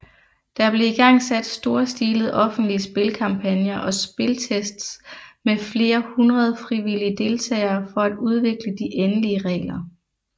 Der blev igangsat storstilede offentlige spilkampagner og spiltests med flere hundrede frivillige deltagere for at udvikle de endelige regler